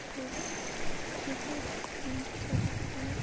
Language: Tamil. பொது விரோதி என்று கருதப்பட்டனர்